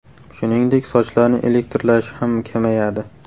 Shuningdek, sochlarni elektrlashishi ham kamayadi.